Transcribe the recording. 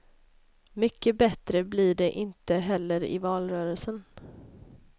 Mycket bättre blir det inte heller i valrörelsen.